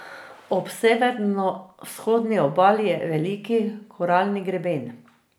Ob severovzhodni obali je Veliki koralni greben.